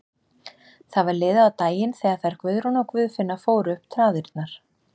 Það var liðið á daginn þegar þær Guðrún og Guðfinna fóru upp traðirnar.